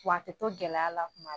Wa a tɛ to gɛlɛya la tuma